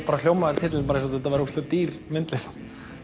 hljómaði titillinn eins og þetta væri dýr myndlist